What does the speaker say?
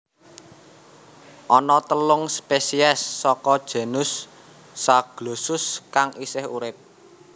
Ana telung spesies saka genus Zaglossus kang isih urip